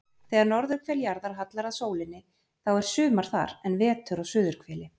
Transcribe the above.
Þegar norðurhvel jarðar hallar að sólinni þá er sumar þar en vetur á suðurhveli.